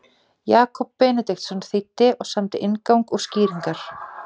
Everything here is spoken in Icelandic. Jakob Benediktsson þýddi og samdi inngang og skýringar.